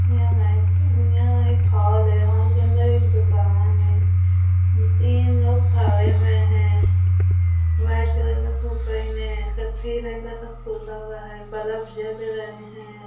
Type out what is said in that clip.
यहाँ एक हॉल है हॉल के अंदर एक दुकान है तीन लोग खड़े हुए है वाइट कलर में पहने हैं कत्थई रंग का हुआ है बल्ब जल रहे है।